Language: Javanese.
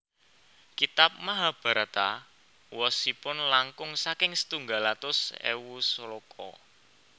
Kitab Mahabharata wosipun langkung saking setunggal atus ewu sloka